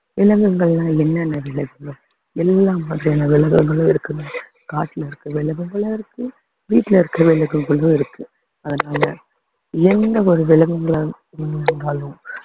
விலங்குகள்னா என்னென்ன விலங்குகள் எல்லா வகையான விலங்குகளும் இருக்குங்க காட்டுல இருக்க விலங்குகளும் இருக்கு வீட்டுல இருக்க விலங்குகளும் இருக்கு அதனால என்ன ஒரு விலங்குகளா இருந்தாலும்